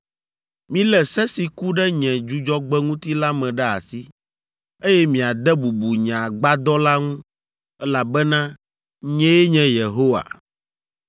“ ‘Milé se si ku ɖe nye Dzudzɔgbe ŋuti la me ɖe asi, eye miade bubu nye Agbadɔ la ŋu, elabena nyee nye Yehowa.